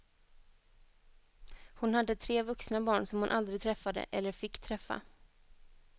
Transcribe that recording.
Hon hade tre vuxna barn som hon aldrig träffade, eller fick träffa.